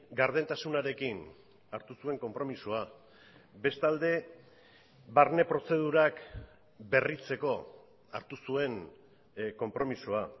gardentasunarekin hartu zuen konpromisoa bestalde barne prozedurak berritzeko hartu zuen konpromisoa